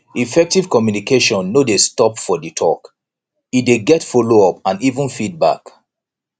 effective communication no dey stop for di talk e de get follow up and even feedback